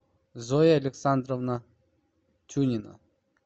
зоя александровна тюнина